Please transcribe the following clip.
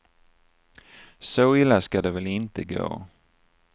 Så illa skall det väl inte gå.